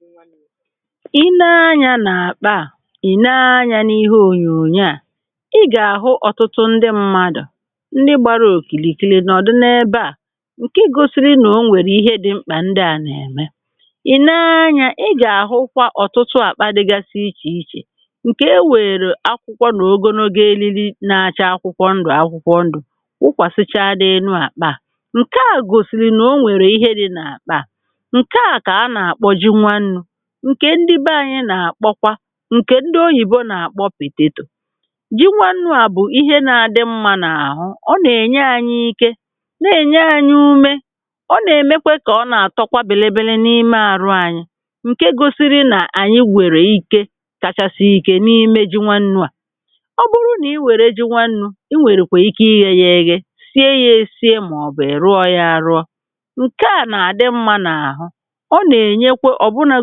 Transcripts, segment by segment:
Ji nwannu̇. i nee anyȧ nà-àkpa à ì nee anyȧ n’ihe ònyònyo à ị gà-àhụ ọtụtụ ndị mmadụ̀ ndị gbara òkìlìkìlì n’ọ̀dị na ebe à ǹkè i gȯsi̇ri̇ nà o nwèrè ihe dị̇ mkpà ndị à nà-ème ì nee anyȧ ị gà-àhụkwa ọ̀tụtụ àkpa dịgasị ichè ichè ǹkè e nwèrè akwụkwọ nà ogonogo eliri na-achaa akwụkwọ ndụ̀ akwụkwọ ndụ̀ wụkwàsịchaa dị elu àkpa à ǹke à gòsìrì nà o nwèrè ihe dị̇ nà àkpà ǹkè á Ka ànà_àkpò jì nwannu ǹkè ndi bè anyị nà-àkpọkwa ǹkè ndi oyìbo nà-àkpọ pététò ji nwannu à bụ̀ ihe nà-adị mmȧ n’àhụ ọ nà-ènye anyị ike na-ènye anyị ume ọ nà-èmekwe kà ọ nà-àtọ kwa bìlìbìlì n’ime àrụ anyị ǹke gosiri nà ànyị wèrè ike kachasị ike n’ime ji nwannu̇ à ọ bụrụ nà i wère ji nwannu̇ i wèrèkwe ike ịghe yȧ eghe sie yȧ esie màọ̀bù è rụọ yȧ àrụọ o na-enye obuna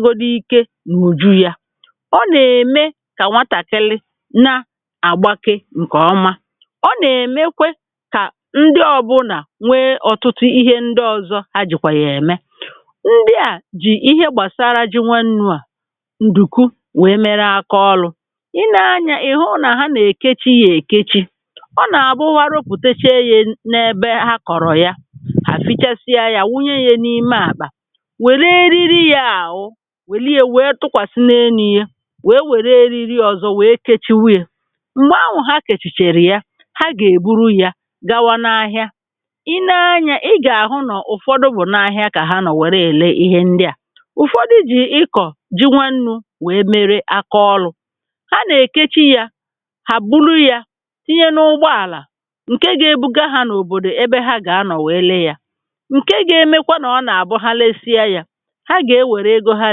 godi ike n'uju ya. ọ nà-ème kà nwatàkili na-àgbake ǹkè ọma ọ nà-èmekwe kà ndị ọ̀bụna nwee ọ̀tụtụ ihe ndị ọ̀zọ ha jìkwà yà ème ndị à jì ihe gbàsaara ji nwee nnu̇ à ndùku wèe mere akọ ọlu̇ i nee anyȧ ihu na ha nà-èkechi yȧ èkechi ọ nà-àbụ ha rụpụteche yȧ n’ebe ha kọ̀rọ̀ ya hà fichasịa ya wunye ye n’ime àkpà wère eriri ya ahu wère ya wee tùkwási n'elu ya wee wère eriri ọzọ wèe kèchiwe ya. m̀gbè ahụ̇ ha kèchìchàrà ya ha gà-èburu ya gawa n’ahịa i nee anya ị gà-àhụ nọ̀ ụ̀fọdụ bụ̀ n’ahịa kà ha nọ̀ wère èle ihe ndị à ụ̀fọdụ jì ị kọ̀ ji nwannu̇ wèe mere akaọlụ̇ ha nà-èkechi ya ha buru ya tinye n’ụgbọàlà ǹke gȧ-ėbuga ha n’òbòdò ebe ha gà-anọ̀ wèe lee ya ǹke gȧ-emekwa nà ọ nà-àbụ ha lesịa ya ha ga enwere ego ha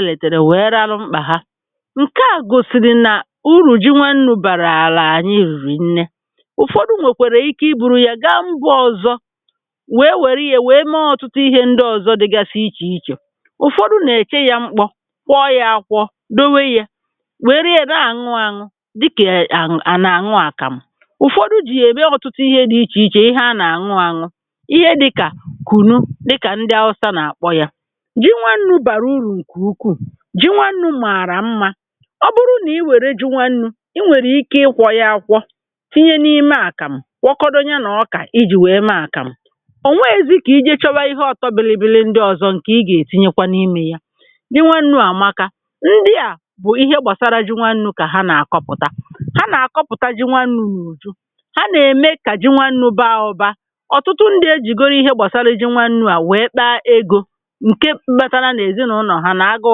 retere wee raru mkpa ha. ǹke à gòsìrì nà urù ji nwannu̇ bàrà là ànyị rìrì nne ụ̀fọdụ̇ nwèkwèrè ike i buru yȧ gaa mbụ ozọ̇ wèe wère yė wèe mee ọ̀tụtụ ihė ndị ọ̀zọ dịgasị ichè ichè ụ̀fọdụ̇ nà-èche yȧ mkpọ kwọ yȧ akwọ dowe yė wère yȧ na àṅụ àṅụ dịkà à nà àṅụ àkàmụ ụ̀fọdụ̇ jì ème ọ̀tụtụ ihe dị̇ ichè ichè ihe a nà àṅụ àṅụ ihe dịkà kùnu dịkà ndị ahụsa nà àkpọ yȧ ji nwannu̇ bààrà uru nke ukwù, ji nwannú mààrà mmȧ ọ bụrụ nà i wère ji nwannu̇ i nwèrè ike ịkwọ̇ ya akwọ tinye n’ime àkàmụ̀ wọkọdọ ya nà ọkà ijì wèe mee àkàmụ̀ ò nweghėzị kà i je chowa ihe ọtọbịlịbịlị ndị ọzọ ǹkè ị gà-ètinyekwa n’imė ya ji nwannu̇ àmaka ndị à bụ̀ ihe gbàsara ji nwannu̇ kà ha nà-àkọpụ̀ta ha nà-àkọpụ̀ta ji nwannu̇ n’ùju ha nà-ème kà ji nwannu̇ baa ụbȧ ọ̀tụtụ ndị ejìgoro ihe gbàsara ji nwannu̇ à wèe kpa egȯ ǹke kpatara nà èzinụlọ̀ ha na agù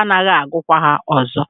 agaghi àgụkwa hȧ ọzọ̇